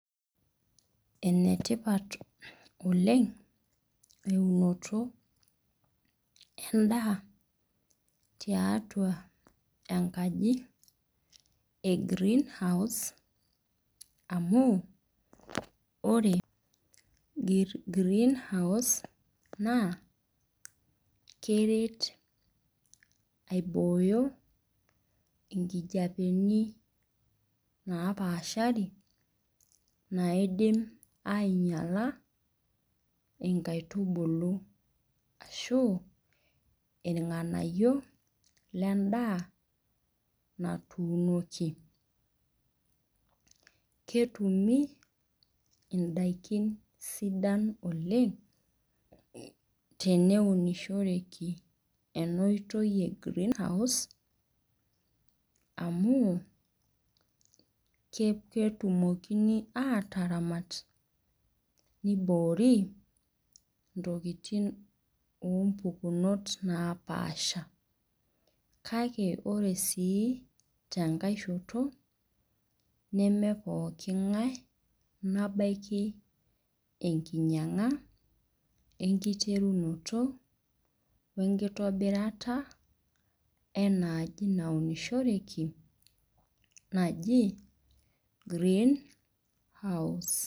Enetipat oleng eunoto endaa tiatua enkaji e greenhouse amu ore greenhouse naa keret aibooyo nkijapeni napaashari naidim ainyala nkaitubulu ashu irnganayio lendaa natuunoki ketumi ndakini sidan oleng teneunishoreki enaotoi e greenhouse amu ketumokini ataramat niboori ntokitin umpukunot napaasha kake ore su tennkai shoto nemepooki ngae nabaki enknyanga wenkitobirata enaaji naunishoreki naji greenhouse.